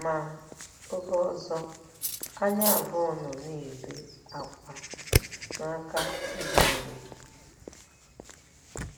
Ma, oge ọzọ anyị abụọ nọ na-ebe ákwá n'aka ibe anyị.